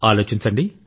ఆలోచించండి